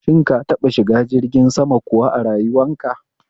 Shin ka taɓa shiga jirgin sama kuwa a rayuwanka?